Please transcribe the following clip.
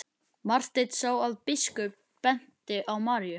Marteinn sá að biskup benti á Maríu.